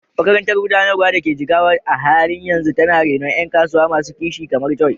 Makarantar Gudanarwa da ke Jigawa a halin yanzu tana renon ƴan kasuwa masu kishi kamar Joy.